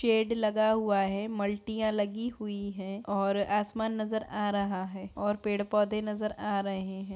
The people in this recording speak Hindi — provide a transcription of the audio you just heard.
शेड लगा हुआ है। मल्टीयाँ लगी हुई हैं और आसमान नजर आ रहा है और पेड़ पौधे नजर आ रहे हैं।